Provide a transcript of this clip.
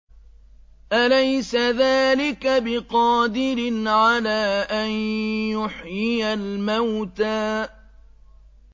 أَلَيْسَ ذَٰلِكَ بِقَادِرٍ عَلَىٰ أَن يُحْيِيَ الْمَوْتَىٰ